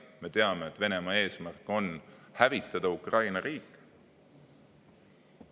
Me teame, et Venemaa eesmärk on hävitada Ukraina riik.